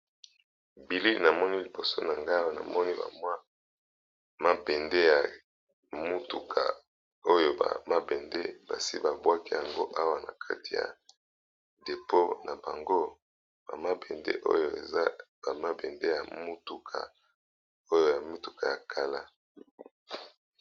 Bilili namoni liboso na ngai eza mabende ya mituka, oyo ba mabende basi babwaki awa